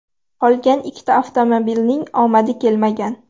Qolgan ikki avtomobilning omadi kelmagan.